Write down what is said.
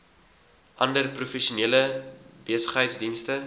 ander professionele besigheidsdienste